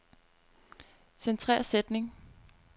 Centrer sætning.